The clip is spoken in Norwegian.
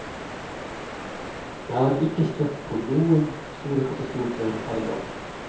Jeg har ikke støtt på noen store katastrofer her i dag.